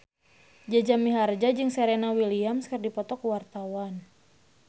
Jaja Mihardja jeung Serena Williams keur dipoto ku wartawan